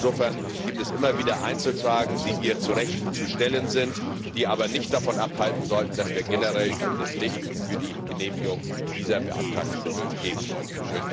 Insofern gibt es immer wieder Einzelfragen, die hier zu Recht zu stellen sind, die aber nicht davon abhalten sollen, dass wir generell grünes Licht für die Genehmigung dieser beantragten Mittel geben sollten.